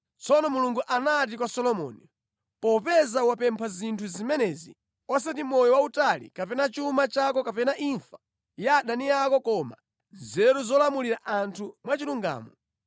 Tsono Mulungu anati kwa Solomoni, “Popeza wapempha zinthu zimenezi osati moyo wautali kapena chuma chako kapena imfa ya adani ako koma nzeru zolamulira anthu mwachilungamo,